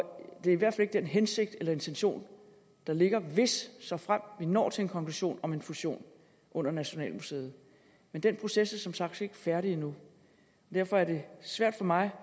det er i hvert fald ikke den hensigt eller intention der ligger hvis såfremt vi når til en konklusion om en fusion under nationalmuseet men den proces er som sagt ikke færdig endnu derfor er det svært for mig